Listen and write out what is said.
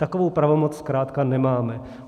Takovou pravomoc zkrátka nemáme.